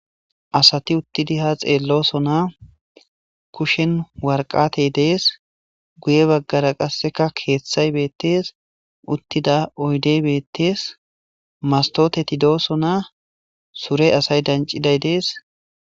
Asati uttidi ha xeellosona kushen warqatey dees guye baggara qasseka keeththay beettees uttida oydey beettees mastotetidoosona sure asay danciday dees.